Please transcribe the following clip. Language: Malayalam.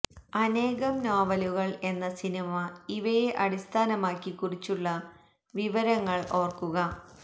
അനേകം നോവലുകൾ എന്ന സിനിമ ഇവയെ അടിസ്ഥാനമാക്കി കുറിച്ചുള്ള വിവരങ്ങൾ ഓർക്കുക